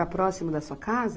Era próximo da sua casa?